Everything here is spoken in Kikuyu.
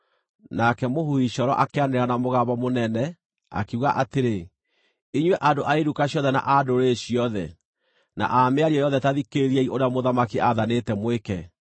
Nake mũhuhi coro akĩanĩrĩra na mũgambo mũnene, akiuga atĩrĩ, “Inyuĩ andũ a iruka ciothe na a ndũrĩrĩ ciothe, na a mĩario yothe ta thikĩrĩriai ũrĩa mũthamaki aathanĩte mwĩke.